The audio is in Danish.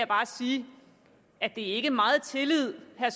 bare sige at det ikke er meget tillid herre